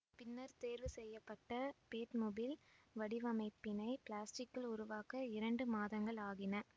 பின்னர் தேர்வு செய்ய பட்ட பேட்மொபில் வடிவமைப்பினை பிலாஸ்டிக்கில் உருவாக்க இரண்டு மாதங்கள் ஆகின